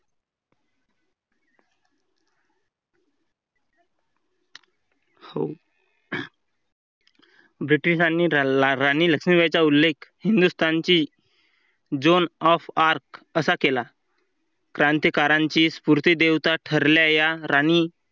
हो Britsh नी धरला राणी लक्ष्मीबाईचा उल्लेख हिंदुस्तानची Zone of arc असा केला. क्रांतिकारांची स्फूर्ती देवता ठरल्या या राणी